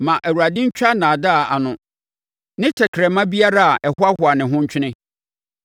Ma Awurade ntwa nnaadaa ano ne tɛkrɛma biara a ɛhoahoa ne ho ntwene;